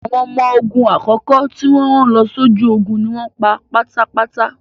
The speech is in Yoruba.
Àwọn ọmọ ogun àkọ́kọ́ tí wọ́n rán lọ sójú ogun ni wọ́n pa tán pátápátá.